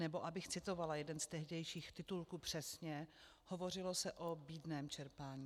Nebo abych citovala jeden z tehdejších titulků přesně, hovořilo se o bídném čerpání.